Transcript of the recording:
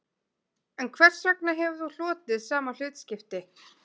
En hvers vegna hefur þú hlotið sama hlutskipti